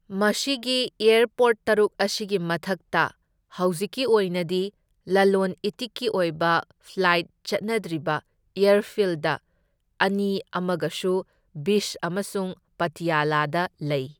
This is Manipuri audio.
ꯃꯁꯤꯒꯤ ꯑꯦꯔꯄꯣꯔꯠ ꯇꯔꯨꯛ ꯑꯁꯤꯒꯤ ꯃꯊꯛꯇ ꯍꯧꯖꯤꯛꯀꯤ ꯑꯣꯏꯅꯗꯤ ꯂꯂꯣꯟ ꯏꯇꯤꯛꯀꯤ ꯑꯣꯏꯕ ꯐ꯭ꯂꯥꯏꯠ ꯆꯠꯅꯗ꯭ꯔꯤꯕ ꯑꯦꯔꯐꯤꯜꯗ ꯑꯅꯤ ꯑꯃꯒꯁꯨ ꯕꯤꯁ ꯑꯃꯁꯨꯡ ꯄꯇꯤꯌꯥꯂꯥꯗ ꯂꯩ꯫